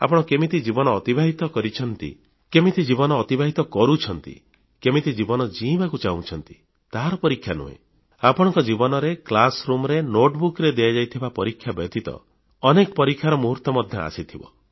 ଆପଣ କେମିତି ଜୀବନ ଅତିବାହିତ କରିଛନ୍ତି କେମିତି ଜୀବନ ଅତିବାହିତ କରୁଛନ୍ତି କେମିତି ଜୀବନ ଜୀଇଁବାକୁ ଚାହୁଁଛନ୍ତି ତାହାର ପରୀକ୍ଷା ନାହିଁ ଆପଣଙ୍କ ଜୀବନରେ କ୍ଲାସ୍ ରୁମ୍ ରେ ନୋଟବୁକ୍ ରେ ଦିଆଯାଇଥିବା ପରୀକ୍ଷା ବ୍ୟତୀତ ମଧ୍ୟ ଅନେକ ପରୀକ୍ଷାର ମୁହୂର୍ତ୍ତ ଆସିଥିବ